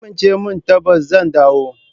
Ki amince min tabbas zan dawo.